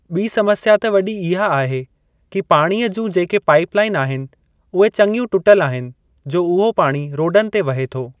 ॿी समस्या त वॾी इहा आहे की पाणीअ जूं जेके पाइप लाइन आहिनि उहे चंङियूं टूटल आहिनि जो उहो पाणी रोडनि ते वहे थो।